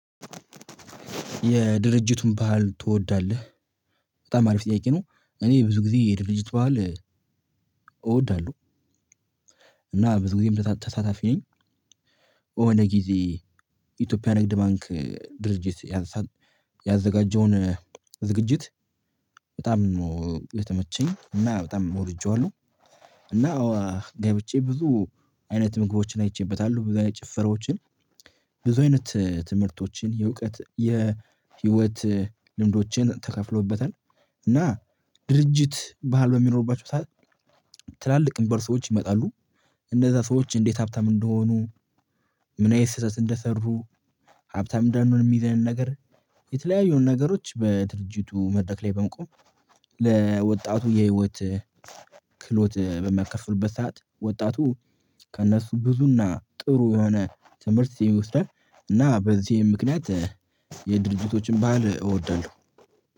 የድርጅቱን ባህል ትወዳለህ? በጣም አሪፍ ጥያቄ ነው። እኔ ብዙ ጊዜ የድርጅት ባህል። እወዳለሁ። እና ብዙ ጊዜ ተሳታፊ ነኝ። የሆነ ጊዜ ኢትዮጵያ ንግድ ባንክ ድርጅት። ያዘጋጀውን ዝግጅት በጣም የተመቸኝ እና በጣም ወድጄዋለሁ። እና ገብቼ ብዙ አይነት ምግቦችን አይቼበታለሁ ብዙ አይነት ጭፈራዎችን። ብዙ አይነት ትምህርቶችን የእውቀት የህይወት ልምዶችን ተከፍሎበታል። እና ድርጅት ባህል በሚኖርባቸው ሰዓት። ትላልቅ የሚባሉ ሰዎች ይመጣሉ እነዛ ሰዎች እንዴት ሀብታም እንደሆኑ። ምን አይነት ስህተት እንደሰሩ ሀብታም እንዳንሆን የሚይዘንን ነገር የተለያዩ ነገሮች በድርጅቱ መድረክ ላይ በመቆም። ለወጣቱ የህይወት ክህሎት በሚያካፍሉበት ሰዓት ወጣቱ ከእነሱ ብዙና ጥሩ የሆነ ትምህርት ይወስዳል። እና በዚህም ምክንያት የድርጅቶችን ባህል እወዳለሁ።